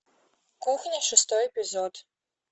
кухня шестой эпизод